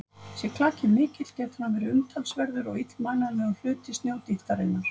Sé klakinn mikill getur hann verið umtalsverður og illmælanlegur hluti snjódýptarinnar.